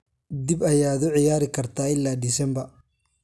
dib ayaad u ciyaari kartaa ilaa December